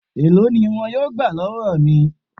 Èló ni wọn yóò gbà lọ́wọ́ mi?